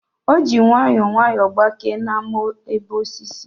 O ji nwayọọ nwayọọ gbakee na amoebaosis